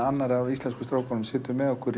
annar af íslensku strákunum situr með okkur